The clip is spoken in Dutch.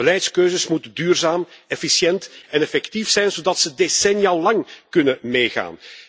Onze beleidskeuzes moeten duurzaam, efficiënt en effectief zijn, zodat ze decennialang kunnen meegaan.